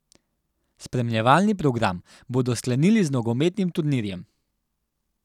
Spremljevalni program bodo sklenili z nogometnim turnirjem.